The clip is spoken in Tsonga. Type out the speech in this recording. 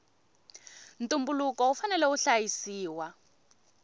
ntumbuluko wu fanela wu hlayisiwa